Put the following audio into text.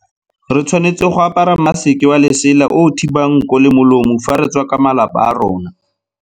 Re tshwanetse go apara maseke wa lesela o o thibang nko le molomo fa re tswa ka malapa a rona.